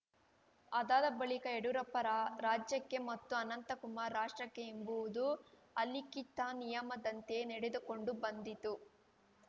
ಅದಾದ ಬಳಿಕ ಯಡ್ಯೂರಪ್ಪ ರಾ ರಾಜ್ಯಕ್ಕೆ ಮತ್ತು ಅನಂತಕುಮಾರ್‌ ರಾಷ್ಟ್ರಕ್ಕೆ ಎಂಬುವುದು ಅಲಿಖಿತ ನಿಯಮದಂತೆಯೇ ನಡೆದುಕೊಂಡು ಬಂದಿತು